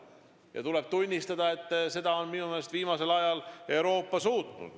Ja tuleb tunnistada, et minu meelest on Euroopa seda viimasel ajal suutnud.